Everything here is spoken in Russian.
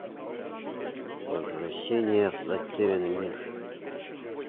возвращение в затерянный мир